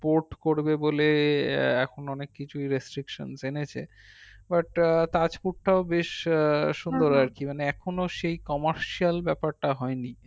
port করবে বলে এখন অনেক কিছু restriction জেনেছে but তাজপুরটাও বেশ আহ সুন্দর আর কি মানে এখন সেই commercial ব্যাপারটা হয়নি